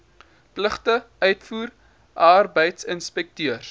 pligte uitvoer arbeidsinspekteurs